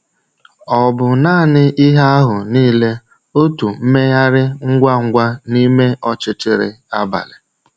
Ò bụ naanị ihe ahụ niile, otu mmegharị ngwa ngwa n’ime ọchịchịrị abalị?